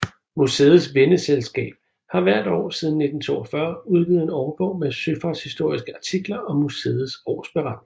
Museets venneselskab har hvert år siden 1942 udgivet en årbog med søfartshistoriske artikler og museets årsberetning